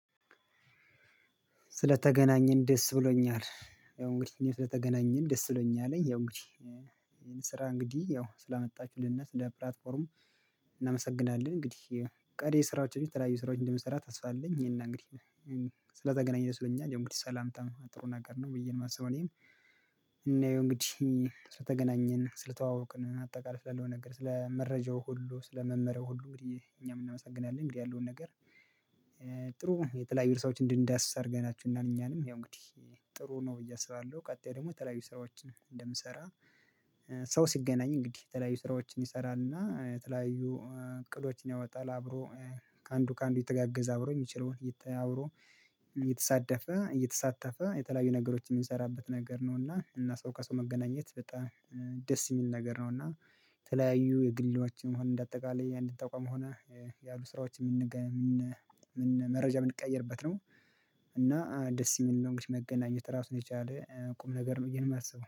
ስለተገናኘን ደስ ብሎኛል ያው እንግዲህ ስለተገናኘን ደስ ብሎኛለኝ ያው እንግዲህ ይሄን ስራ እንግዲህ ያው ስላመጣችሁልነ ስለፕላትፎርም እናመሰግናለን። እንግዲህ ቀሪ ስራዎችን የተለያዩ ስራዎች እንደምንሰራ ተስፋ አለኝ። ይሄና እንግዲህ ስለተገናኘን ደስ ብሎኛል ያው እንግዲህ ሰላምታ ጥሩ ነገር ነው ብዬ የማስበው። እኔም እናየው እንግዲህ ስለተገናኘን ስለተዋወቅን አጠቃላይ ስላለው ነገር ስለ መረጃው ሁሉ ስለ መመሪያው ሁሉ እንግዲህ እኛም እናመሰግናለን። እንግዲህ ያለውን ነገር። ጥሩ የተለያዩ ስራዎችን እንድንዳስስ ሀገር አድርጋችሁናል ያው እንግዲህ ጥሩ ነው ብዬ አስባለሁ። ቀጣይ ደግሞ የተለያዩ ስራዎችን እንደምሰራ። ሰው ሲገናኝ እንግዲህ የተለያዩ ስራዎችን ይሰራልና የተለያዩ እቅዶችን ያወጣል። አብሮ ከአንዱ ከአንዱ እየተጋገዘ አብሮ የሚችለውን አብሮ እየተያወሩ እየተሳደፈ እየተሳተፈ የተለያዩ ነገሮች የምንሰራበት ነገር ነው። እና እና ሰው ከሰው መገናኘት በጣም ደስ የሚል ነገር ነው። እና ተለያዩ የግልያዎችን ይሁን እንደ አጠቃላይ አንድ ተቋም ሆነ ያሉ ስራዎችን። መረጃ የምንቀይርበት ነው። እና ደስ የሚል ነው። እንግዲህ መገናኘት ራሱን የቻለ ቁም ነገር ነው ብዬ ነው የማስበው